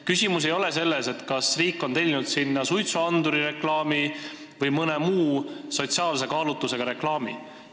Küsimus ei ole selles, kas riik on sinna tellinud suitsuandurireklaami või mõne muu sotsiaalse kaalutlusega reklaami.